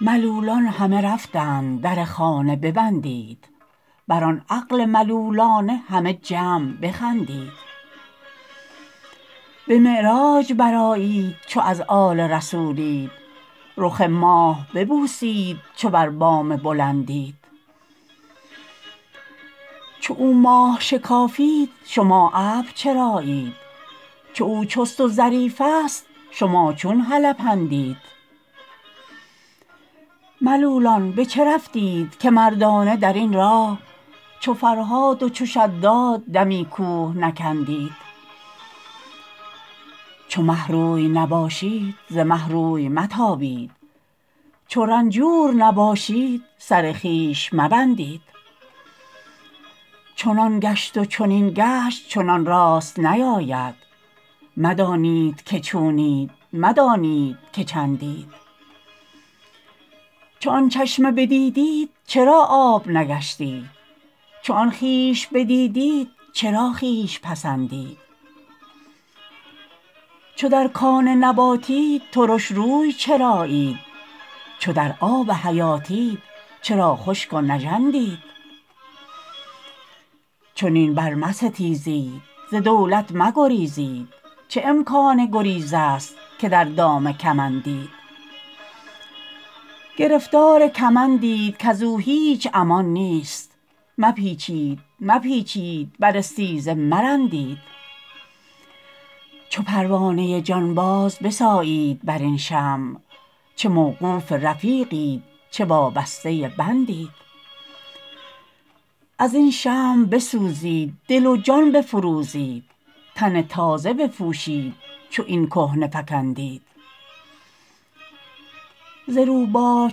ملولان همه رفتند در خانه ببندید بر آن عقل ملولانه همه جمع بخندید به معراج برآیید چو از آل رسولید رخ ماه ببوسید چو بر بام بلندید چو او ماه شکافید شما ابر چرایید چو او چست و ظریفست شما چون هلپندید ملولان به چه رفتید که مردانه در این راه چو فرهاد و چو شداد دمی کوه نکندید چو مه روی نباشید ز مه روی متابید چو رنجور نباشید سر خویش مبندید چنان گشت و چنین گشت چنان راست نیاید مدانید که چونید مدانید که چندید چو آن چشمه بدیدیت چرا آب نگشتید چو آن خویش بدیدیت چرا خویش پسندید چو در کان نباتید ترش روی چرایید چو در آب حیاتید چرا خشک و نژندید چنین برمستیزید ز دولت مگریزید چه امکان گریزست که در دام کمندید گرفتار کمندید کز او هیچ امان نیست مپیچید مپیچید بر استیزه مرندید چو پروانه جانباز بسایید بر این شمع چه موقوف رفیقید چه وابسته بندید از این شمع بسوزید دل و جان بفروزید تن تازه بپوشید چو این کهنه فکندید ز روباه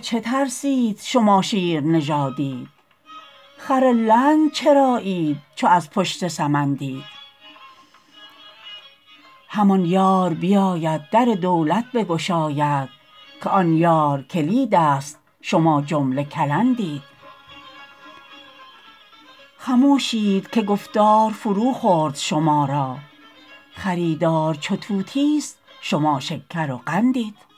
چه ترسید شما شیرنژادید خر لنگ چرایید چو از پشت سمندید همان یار بیاید در دولت بگشاید که آن یار کلیدست شما جمله کلندید خموشید که گفتار فروخورد شما را خریدار چو طوطیست شما شکر و قندید